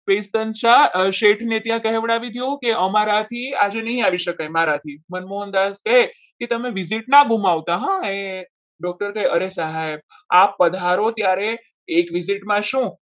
શેઠને ત્યાં કહેવડાવી દો કે અમારા જે આજે નઈ આવી શકાય મારાથી મનમોહનદાસ કહે કે તમે visit ના ગુમાવતા હો doctor કહે અરે સાહેબ આપ પધારો તારે એક visit માં શું?